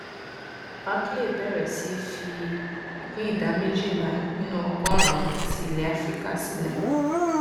barclays bẹrẹ sí í fi ìpín ìdá méjìlá nínú ọgọrùnún ti ilẹ áfíríkà sílẹ